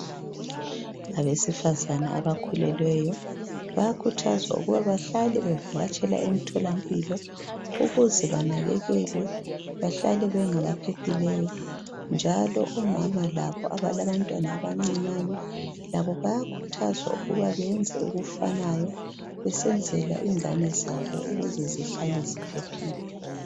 Abesifazana abakhulelweyo bayakhuthazwa ukuba bahlale bevakatshela emtholampilo ukuze banakekelwe bahlale bengabaphephileyo njalo omama labo abalabantwana abancinyane labo bayakhuthazwa ukuba bayenze okufanayo besenzela ingane zabo ukuze zihlale ziphephile.